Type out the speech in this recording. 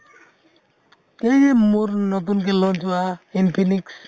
এই যে মোৰ নতুনকে launch হোৱা infinite